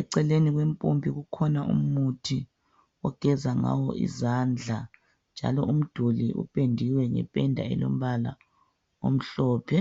eceleni kwempompi kukhona umuthi ogeza ngawo izandla njalo umduli upendiwe ngependa elombala omhlophe.